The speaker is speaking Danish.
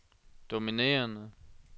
dominerende